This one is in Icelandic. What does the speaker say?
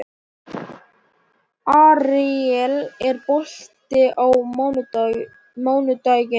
Aríel, er bolti á mánudaginn?